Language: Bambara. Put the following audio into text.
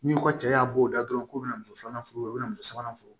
N'i ko cɛ y'a bɔ o dɔn dɔrɔn k'o bɛna muso filanan furu u bɛna muso sabanan fo